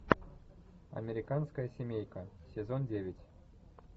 американская семейка сезон девять